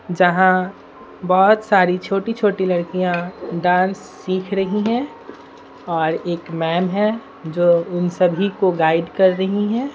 जहां बहुत सारी छोटी छोटी लड़कियां डांस सीख रही हैं और एक मैम है जो उन सभी को गाइड कर रही हैं।